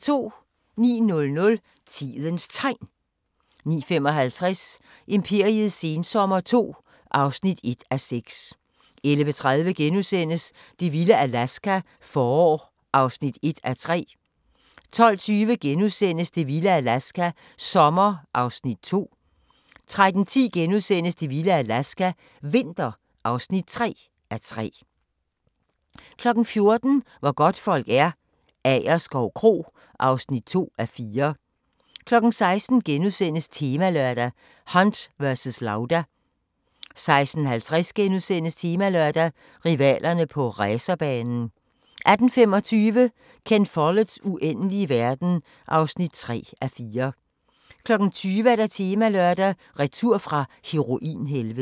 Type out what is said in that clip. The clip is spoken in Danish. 09:00: Tidens Tegn 09:55: Imperiets sensommer II (1:6) 11:30: Det vilde Alaska – forår (1:3)* 12:20: Det vilde Alaska – sommer (2:3)* 13:10: Det vilde Alaska – vinter (3:3)* 14:00: Hvor godtfolk er - Agerskov Kro (2:4) 16:00: Temalørdag: Hunt versus Lauda * 16:50: Temalørdag: Rivalerne på racerbanen * 18:25: Ken Folletts Uendelige verden (3:4) 20:00: Temalørdag: Retur fra heroinhelvedet